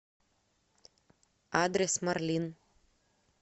адрес марлин